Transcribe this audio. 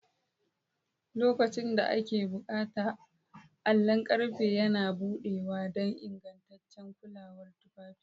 Lokacin da ake buƙata, allon ƙarfe yana buɗewa don ingantaccen kulawar tufafi.